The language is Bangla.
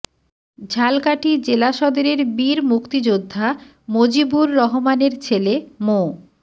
ঝালকাঠি জেলা সদরের বীর মুক্তিযোদ্ধা মজিবুর রহমানের ছেলে মো